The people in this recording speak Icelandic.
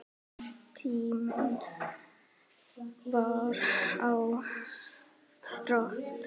En tíminn var á þrotum.